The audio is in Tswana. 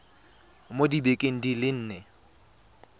mo dibekeng di le nne